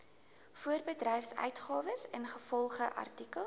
voorbedryfsuitgawes ingevolge artikel